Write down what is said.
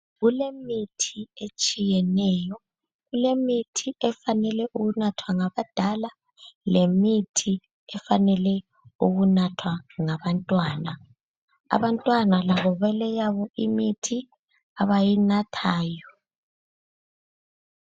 Kulemithi etshiyeneyo, kulemithi efanelwe ukunathwa ngabadala lemithi efanelwe ukunathwa ngabantwana. Abantwana labo baleyabo imithi abayinathayo.